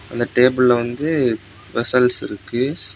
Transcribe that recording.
அந்த டேபிள்ல வந்து வெஸ்ஸல்ஸ் இருக்கு.